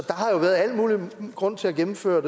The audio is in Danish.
har jo været al mulig grund til at gennemføre